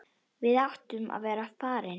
Við áttum að vera farnir.